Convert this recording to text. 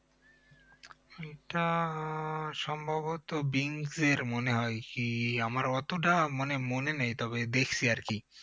এটা আহ সম্ভবত বিঞ্জ এর মনে হয় কি আমার অতটা মানে মনে নেই তবে দেখছি আরকি